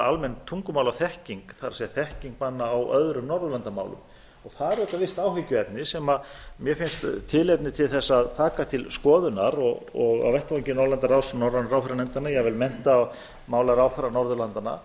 almenn tungumálaþekking það er þekking manna á öðrum norðurlandamálum það er auðvitað visst áhyggjuefni sem mér finnst tilefni til að taka til skoðunar og á vettvangi norðurlandaráðs norrænu ráðherranefndanna jafnvel menntamálaráðherra norðurlandanna